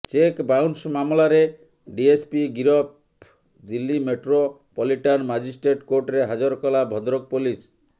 check bounce ମାମଲାରେ DSP ଗିରଫ Delhi metropolitan magistrate କୋର୍ଟରେ ହାଜର କଲା ଭଦ୍ରକ ପୋଲିସ